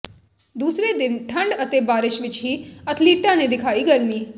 ਦੂਸਰੇ ਦਿਨ ਠੰਡ ਅਤੇ ਬਾਰਿਸ਼ ਵਿੱਚ ਵੀ ਅਥਲੀਟਾਂ ਨੇ ਦਿਖਾਈ ਗਰਮੀ